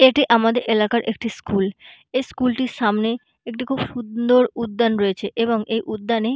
এটি আমাদের এলাকার একটি স্কুল । এই স্কুলটির সামনে একটি খুব সুন্দর উদ্যান রয়েছে এবং এই উদ্যানে--